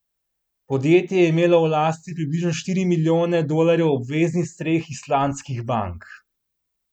Podjetje je imelo v lasti približno štiri milijone dolarjev obveznic treh islandskih bank.